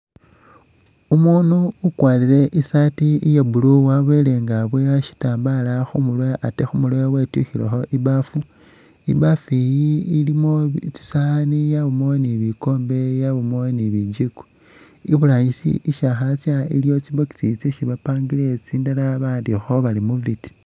Umuunu ukwarire i'saati iya blue wabele nga aboya shitambala khu murwe ate khu murwe wetyukhilekho i'baafu, i'baafu iyi ilimo tsisaani, yabamo ni bikoombe, yabamo ni bijiiko. Iburangisi isi akhatsya iliyo tsi box tsindala ba'andikhakho bari movit.